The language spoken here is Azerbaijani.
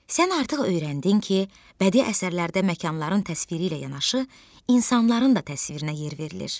Sən artıq öyrəndin ki, bədii əsərlərdə məkanların təsviri ilə yanaşı, insanların da təsvirinə yer verilir.